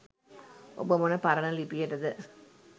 ඔබ මොන පරණ ලිපියටද